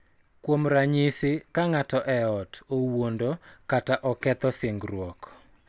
Kuom ranyisi, ka ng�ato e ot owuondo kata oketho singruok, .